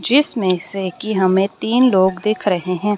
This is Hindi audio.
जिसमें से कि हमें तीन लोग दिख रहे हैं।